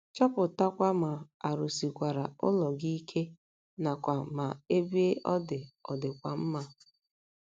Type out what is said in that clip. Chọpụtakwa ma a rụsikwara ụlọ gị ike nakwa ma ebe ọ dị ọ̀ dịkwa mma.